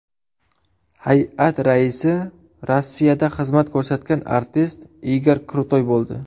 Hay’at raisi Rossiyada xizmat ko‘rsatgan artist Igor Krutoy bo‘ldi.